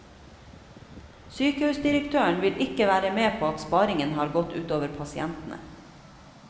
Sykehusdirektøren vil ikke være med på at sparingen har gått ut over pasientene.